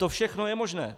To všechno je možné.